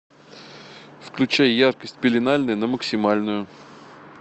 включай яркость пеленальная на максимальную